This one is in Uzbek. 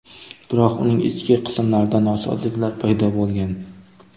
Biroq uning ichki qismlarida nosozliklar paydo bo‘lgan.